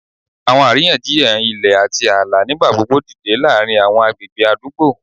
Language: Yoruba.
Awọn ariyanjiyan ilẹ ati aala nigbagbogbo dide laarin awọn agbegbe adugbo,